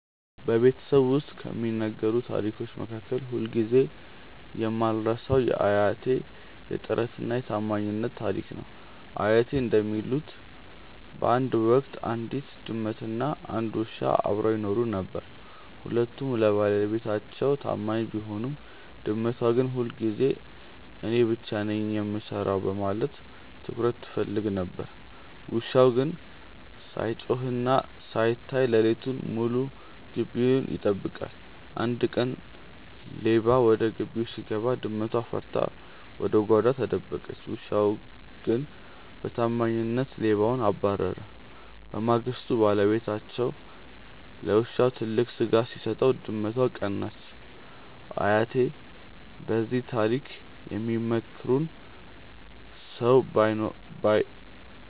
በቤተሰቤ ውስጥ ከሚነገሩ ታሪኮች መካከል ሁልጊዜ የማልረሳው የአያቴ "የጥረትና የታማኝነት" ታሪክ ነው። አያቴ እንደሚሉት፣ በአንድ ወቅት አንዲት ድመትና አንድ ውሻ አብረው ይኖሩ ነበር። ሁለቱም ለባለቤታቸው ታማኝ ቢሆኑም፣ ድመቷ ግን ሁልጊዜ እኔ ብቻ ነኝ የምሰራው በማለት ትኩረት ትፈልግ ነበር። ውሻው ግን ሳይጮህና ሳይታይ ሌሊቱን ሙሉ ግቢውን ይጠብቃል። አንድ ቀን ሌባ ወደ ግቢው ሲገባ፣ ድመቷ ፈርታ ወደ ጓዳ ተደበቀች። ውሻው ግን በታማኝነት ሌባውን አባረረ። በማግስቱ ባለቤታቸው ለውሻው ትልቅ ስጋ ሲሰጠው፣ ድመቷ ቀናች። አያቴ በዚህ ታሪክ የሚመክሩን ሰው